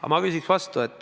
Aga ma küsiks vastu ...